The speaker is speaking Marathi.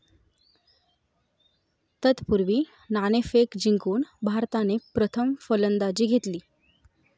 तत्पूर्वी, नाणेफेक जिंकून भारताने प्रथम फलंदाजी घेतली.